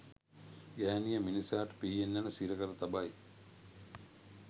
ගැහැණිය මිනිසාට පිහියෙන් ඇණ සිරකර තබයි